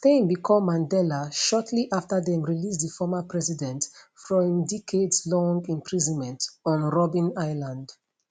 steyn become mandela shortly afta dem release di former president from im decadeslong imprisonment on robben island